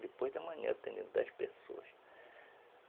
Depois da manhã eu tenho dez pessoas.